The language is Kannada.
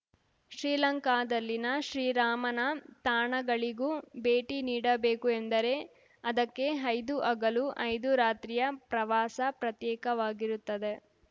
ಶ್ರೀಲಂಕಾದಲ್ಲಿನ ಶ್ರೀರಾಮನ ತಾಣಗಳಿಗೂ ಭೇಟಿ ನೀಡಬೇಕು ಎಂದರೆ ಅದಕ್ಕೆ ಐದು ಹಗಲು ಐದು ರಾತ್ರಿಯ ಪ್ರವಾಸ ಪ್ರತ್ಯೇಕವಾಗಿರುತ್ತದೆ